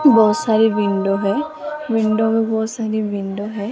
बहोत सारी विंडो है विंडो में बहोत सारी विंडो है।